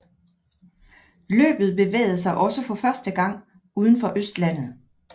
Løbet bevægede sig også for første gang udenfor Østlandet